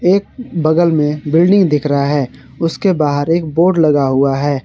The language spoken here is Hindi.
एक बगल में बिल्डिंग दिख रहा है उसके बाहर एक बोर्ड लगा हुआ है।